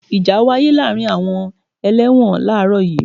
Ìjà wáyé láàárín àwọn ẹlẹ́wọ̀n làárọ̀ yii.